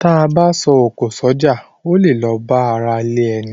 T a bá a s’oko s’oja, o le la a ba àrà ilé ẹní.